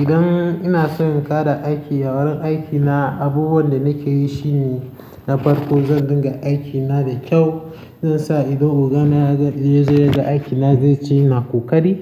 Idan ina son in ƙara aiki a wurin aikina, abubuwan da nake yi shine na farko zan dinga aikina da kyau. Zan sa idan ogan na ya je ya ga aikina zai ce ina ƙoƙari.